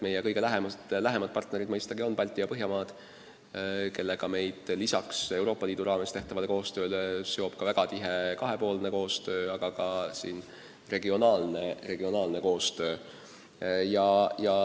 Meie kõige lähemad partnerid on mõistagi Balti- ja Põhjamaad, kellega meid lisaks Euroopa Liidu raames tehtavale koostööle seob ka väga tihe kahepoolne koostöö, aga ka regionaalne koostöö.